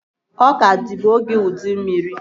Ọka dịbu oge ụdị mmiri